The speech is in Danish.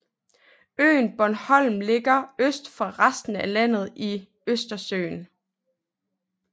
Øen Bornholm ligger øst for resten af landet i Østersøen